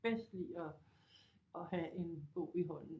Bedst lide at have en bog i hånden